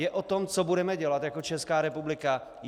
Je o tom, co budeme dělat jako Česká republika?